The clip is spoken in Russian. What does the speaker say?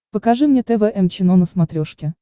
покажи мне тэ вэ эм чено на смотрешке